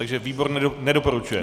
takže výbor nedoporučuje?